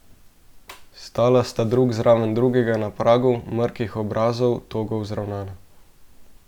Stala sta drug zraven drugega na pragu, mrkih obrazov, togo vzravnana.